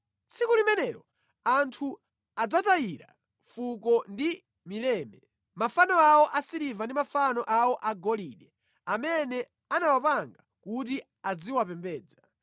Tsiku limenelo anthu adzatayira mfuko ndi mileme mafano awo asiliva ndi mafano awo agolide, amene anawapanga kuti aziwapembedza.